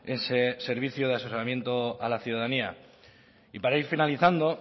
ese servicio de asesoramiento a la ciudadanía y para ir finalizando